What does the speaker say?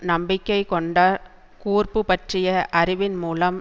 நம்பிக்கை கொண்ட கூர்ப்பு பற்றிய அறிவின் மூலம்